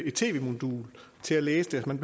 et tv modul til at læse det man